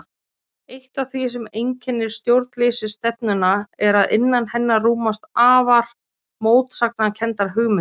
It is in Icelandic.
Eitt af því sem einkennir stjórnleysisstefnuna er að innan hennar rúmast afar mótsagnakenndar hugmyndir.